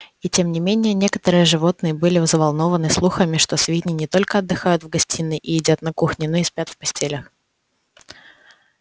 и тем не менее некоторые животные были взволнованы слухами что свиньи не только отдыхают в гостиной и едят на кухне но и спят в постелях